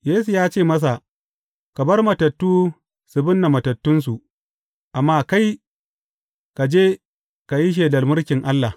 Yesu ya ce masa, Ka bar matattu su binne matattunsu, amma kai, ka je ka yi shelar mulkin Allah.